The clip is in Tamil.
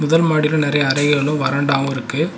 முதல் மாடியில நெறைய அறைகளு வரண்டாவு இருக்கு.